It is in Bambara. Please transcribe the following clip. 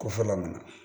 Kofɔla ninnu na